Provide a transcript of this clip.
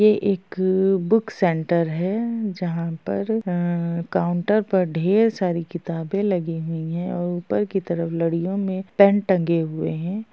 ये एक book centre है जहाँ पर अ काउंटर पर ढेर सारी किताबें लगी हुई हैं और ऊपर की तरफ लड़ियों में पेन टंगे हुए हैं।